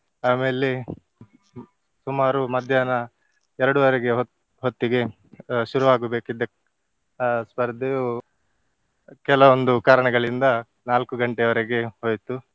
ಆಮೇಲೆ ಸುಮಾರು ಮಧ್ಯಾಹ್ನ ಎರಡೂವರೆಗೆ ಹೊತ್ತಿಗೆ ಅಹ್ ಶುರುವಾಗಬೇಕಿದ್ದ ಅಹ್ ಸ್ಪರ್ಧೆಯು ಕೆಲವೊಂದು ಕಾರಣಗಳಿಂದ ನಾಲ್ಕು ಗಂಟೆಯವರೆಗೆ ಹೋಯಿತು.